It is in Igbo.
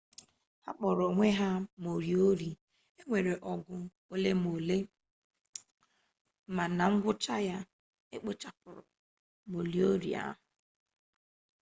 ha kpọrọ onwe ha moriori e nwere ọgụ ole na ole ma na ngwụcha ya e kpochapụrụ moriori ahụ